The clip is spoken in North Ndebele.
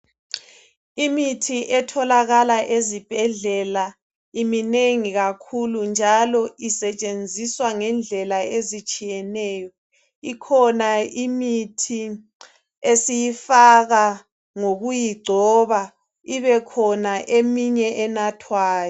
Imithi etholakala ezibhedlela iminengi kakhulu njalo isetshenziswa ngendlela ezitshiyeneyo. Ikhona imithi esiyifaka ngokuyigcoba ibekhona eminye enathwayo.